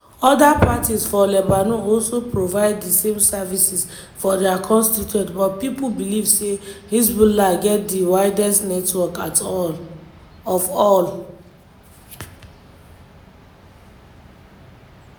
oda parties for lebanon also provide di same services for dia constituents but pipo beliv say hezbollah get di widest network of all.